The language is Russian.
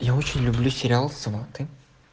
я очень люблю сериал сваты